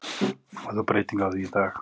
Það er þó breyting á því í dag.